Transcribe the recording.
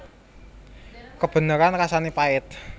Kebeneran rasané pait